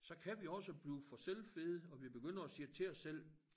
Så kan vi også blive for selvfede og vi begynder at sige til os selv